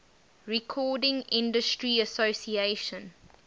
recording industry association